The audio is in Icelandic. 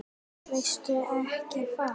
Veistu ekki hvað?